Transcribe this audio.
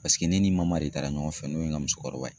Paseke ne ni de taara ɲɔgɔn fɛ n'o ye n ka musokɔrɔba ye.